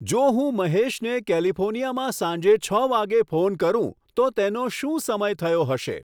જો હું મહેશને કેલિફોર્નિયામાં સાંજે છ વાગ્યે ફોન કરું તો તેનો શું સમય થયો હશે